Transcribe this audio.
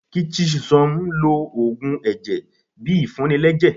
kí chisom lò òògùn ẹjẹ bí ìfuní lẹjẹ